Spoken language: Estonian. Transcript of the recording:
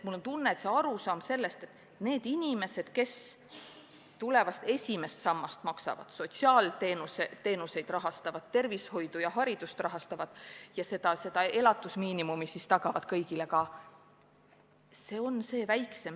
Mul on tunne, et kõigini pole jõudnud arusaam, et neid inimesi, kes tulevast esimest sammast maksavad, sotsiaalteenuseid rahastavad, tervishoidu ja haridust rahastavad ja kõigile elatusmiinimumi tagavad, on märksa vähem kui praegu.